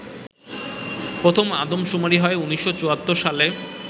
প্রথম আদমশুমারি হয় ১৯৭৪ সালে